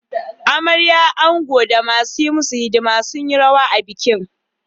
Amarya, ango, da masu yi musu hidima sun yi rawa a bikin.